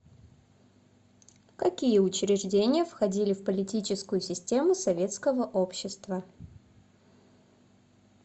какие учреждения входили в политическую систему советского общества